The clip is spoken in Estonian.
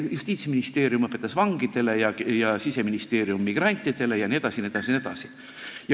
Ei, Justiitsministeerium õpetas vangidele ja Siseministeerium migrantidele jne.